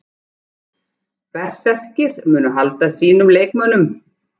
Berserkir: Munu halda sínum leikmönnum.